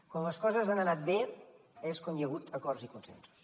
quan les coses han anat bé és quan hi ha hagut acords i consensos